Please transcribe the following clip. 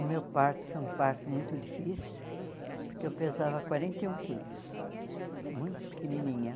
O meu parto foi um parto muito difícil, porque eu pesava quarenta e um quilos, muito pequenininha.